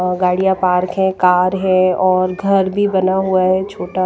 गाड़िया पार्क है कार है और घर भी बना हुआ है छोटा--